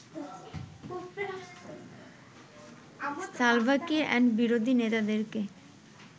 Salva Kiir এবং বিরোধী নেতাদেরকে